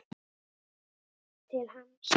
Til hans.